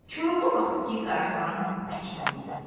Koroğlu baxdı ki, Qaraxan əkilmək istəyir.